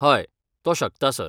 हय, तो शकता, सर.